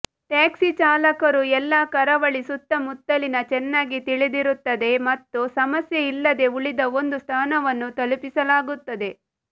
taxi ಚಾಲಕರು ಎಲ್ಲ ಕರಾವಳಿ ಸುತ್ತಮುತ್ತಲಿನ ಚೆನ್ನಾಗಿ ತಿಳಿದಿರುತ್ತದೆ ಮತ್ತು ಸಮಸ್ಯೆ ಇಲ್ಲದೆ ಉಳಿದ ಒಂದು ಸ್ಥಾನವನ್ನು ತಲುಪಿಸಲಾಗುತ್ತದೆ